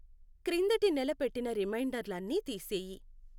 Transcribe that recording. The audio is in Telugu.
క్రిందటి నెల పెట్టిన రిమైండర్లు అన్నీ తీసేయి.